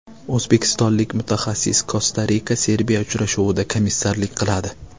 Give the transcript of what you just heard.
O‘zbekistonlik mutaxassis Kosta-RikaSerbiya uchrashuvida komissarlik qiladi.